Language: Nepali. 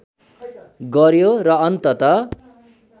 गर्‍यो र अन्तत